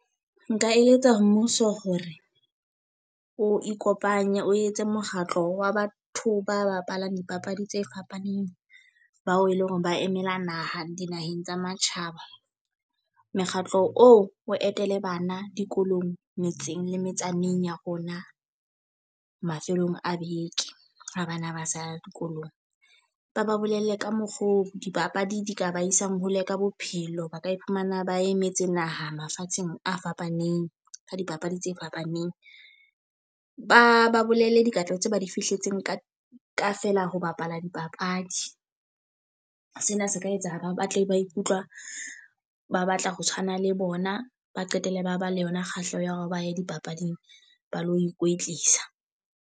Nka eletsa ho mmuso hore o ikopanye o etse mokgatlo wa batho ba bapalang dipapadi tse fapaneng. Bao e leng hore ba emela naha dinaheng tsa matjhaba. Mekgatlo oo o etele bana dikolong, metseng le metsaneng ya rona mafelong a beke a bana ba sa dikolong. Ba ba bolelle ka mokgo dipapadi di ka ba isang hole ka bophelo, ba ka ifumana ba emetse naha mafatsheng a fapaneng ka dipapadi tse fapaneng. Ba ba bolelle dikatleho tse ba di fihletseng ka feela ho bapala dipapadi. Sena se ka etsa ba batle ba ikutlwa ba batla ho tshwana le bona, ba qetelle ba ba le yona kgahleho ya hore ba ye dipapading ba lo ikwetlisa.